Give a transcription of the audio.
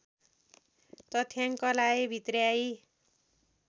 तथ्याङ्कलाई भित्र्याई